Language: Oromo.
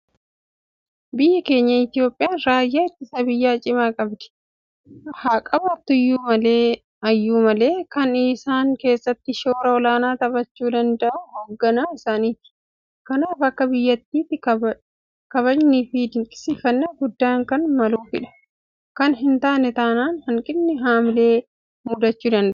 Biyyi keenya Itoophiyaan raayyaa ittisa biyyaa cimaa qabdi. Haaqabaattu iyyuu malee kan isaan keessatti shoora olaanaa taphachuu danda'u hoogganaa isaaniiti. Kanaaf akka biyyaatti kabajniifi dinqisiifannaan guddaan kan maluufidha. Kana hintaane taanaan hanqinni haamilee mudachuu waanta danda'uuf irratti hojjetamuu qaba.